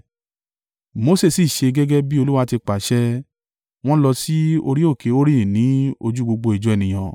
Mose sì ṣe gẹ́gẹ́ bí Olúwa ti pàṣẹ, wọ́n lọ sí orí òkè Hori ní ojú gbogbo ìjọ ènìyàn.